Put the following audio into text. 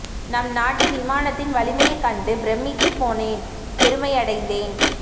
நம் நாட்டு விமானத்தின் வலிமையை கண்டு பிரமித்துப்போனேன் பொருமையடைந்தேன்